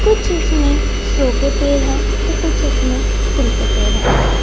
कुछ इस में सो के पेड़ हैं तो कुछ इसमें फूल्ल के पेंड़ हैं।